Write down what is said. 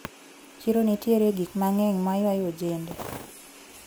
Chiro nitiere gi gikmang`eny maywayo ojende.